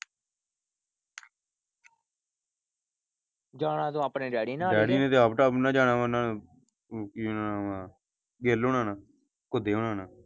ਜਾਣਾ ਤੂੰ ਆਪਣੇ ਡੈਡੀ ਨਾਲ ਡੈਡੀ ਨੇ ਤੇ ਆਪ ਨਾਲ ਜਾਣਾ ਵਾ ਕੀ ਓਹਦਾ ਨਾ ਆ ਗਿੱਲ ਹੋਣਾ ਨਾ ਘੁਦੇ ਹੋਣਾ ਨਾਲ।